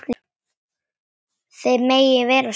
Þið megið vera svo stolt.